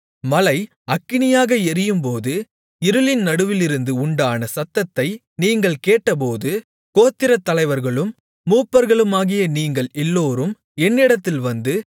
மலை அக்கினியாக எரியும்போது இருளின் நடுவிலிருந்து உண்டான சத்தத்தை நீங்கள் கேட்டபோது கோத்திரத் தலைவர்களும் மூப்பர்களுமாகிய நீங்கள் எல்லோரும் என்னிடத்தில் வந்து